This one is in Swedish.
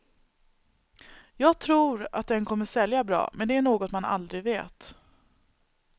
Jag tror att den kommer att sälja bra, men det är något man aldrig vet.